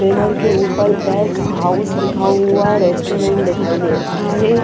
Pillar के ऊपर back house लिखा हुआ रेस्टोरेंट दिखाई दे रहा है ।